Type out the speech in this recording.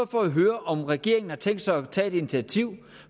for at høre om regeringen har tænkt sig at tage initiativ